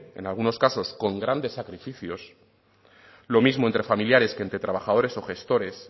en algunos casos con grandes sacrificios lo mismo entre familiares que entre trabajadores o gestores